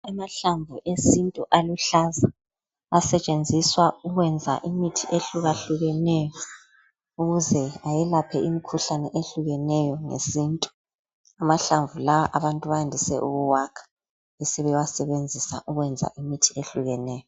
Amahlamvu esintu aluhlaza asetshenziswa ukwenza imithi ehluka hlukeneyo ukuze ayelaphe imikhuhlane ehlukeneyo ngesintu, amahlamvu lawa abantu bayandise ukuwakha besebewasebenzisa ukwenza imithi ehlukeneyo.